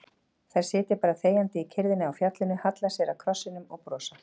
Þær sitja bara þegjandi í kyrrðinni á fjallinu, halla sér að krossinum og brosa.